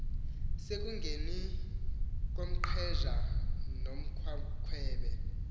sekungeneni komnqheja nomgqwakhwebe